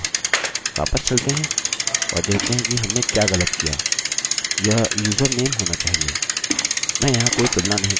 वापस चलते हैं और देखते हैं कि हमने क्या गलत किया यह username होना चाहिए